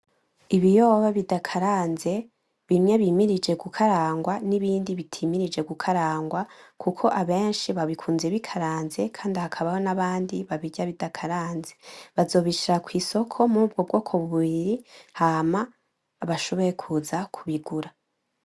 Ibiyoba bidakaranze , bimwe bimirije gukarangwa n'ibindi bitimirije gukarangwa kuko abenshi babikunze bikaranze kandi hakaba n'abandi babirya bidakaranze, bazobishira kw'isoko muri ubwo bwoko bubiri hama bashobore kuza kubigura.